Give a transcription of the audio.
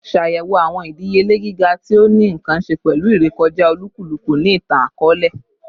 Ṣayẹwo awọn idiyele giga ti o ni nkan ṣe pẹlu irekọja olukuluku ni itan-akọọlẹ